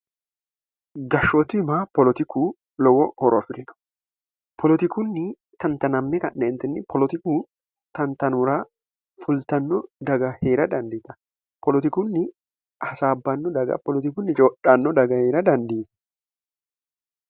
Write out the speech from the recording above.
gashshootima poolotiku lowo horo afi'rino polotikunni tan0anamm knni polotiku tantanuura fultanno daga hee'ra dandiita poolotikunni hasaabbanno daga poolotikunni codhanno daga hee'ra dandiite